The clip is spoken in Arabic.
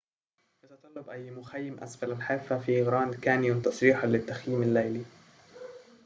يتطلب أي مخيم أسفل الحافة في غراند كانيون تصريحاً للتخييم الليلي